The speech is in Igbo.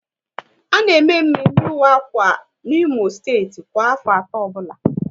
A na eme mmemme ịwa akwa n'Imo steeti kwa afọ atọ ọbụla